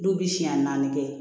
Du bi siɲɛ naani kɛ